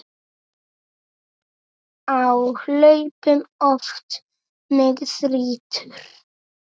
Á hlaupum oft mig þrýtur.